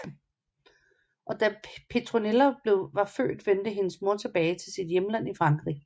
Da Petronella var født vendte hendes mor tilbage til sit hjemland i Frankrig